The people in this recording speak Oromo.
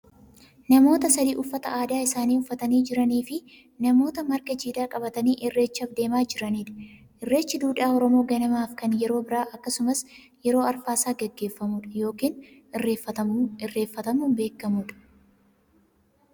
namoota sadi uffata aadaa isaanii uffatanii jiraniifi namoota marga jiidhaa qabatanii irreechaaf deemaa jiranidha. irreechu duudhaa oromoo ganamaafi kan yeroo birraa akkasumas yeroo arfaasaa gaggeeffamu dha, yookaan irreefatamuun beekkamu dha.